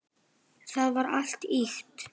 Það var allt ýkt.